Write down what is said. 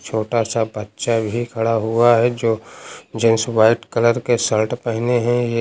छोटा सा बच्चा भी खड़ा हुआ है जो जेंट्स व्हाइट कलर के शर्ट पहने हैं ये।